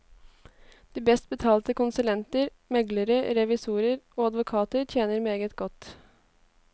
De best betalte konsulenter, meglere, revisorer og advokater tjener meget godt.